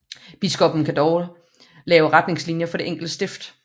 Biskoppen kan dog lave retningslinjer for det enkelte stift